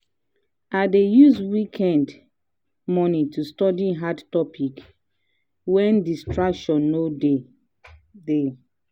i dey use weekend mornings to study hard topic wen distraction no dey. dey.